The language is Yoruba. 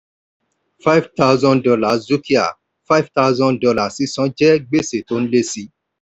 five thousand dollars dúkìá five thousand dollars sísan jẹ́ gbèsè tó ń lé sí i.